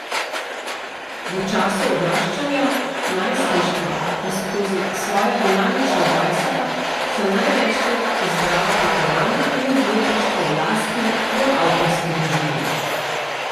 V času odraščanja, najstništva in skozi svoja dinamična dvajseta sem največkrat izbrala potovanja in izletništva v lastni, bolj avtorski režiji.